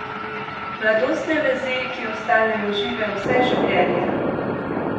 Mladostne vezi, ki ostanejo žive vse življenje!